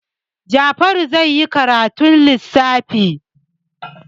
Jafaru zai yi karatun lissafi.